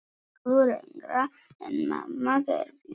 Miklu lengra en mamma gerði.